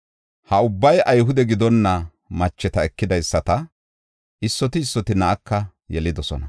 Ha ubbay Ayhude gidonna macheta ekidaysata; issoti issoti na7aka yelidosona.